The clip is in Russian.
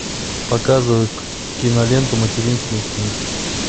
показывай киноленту материнский инстинкт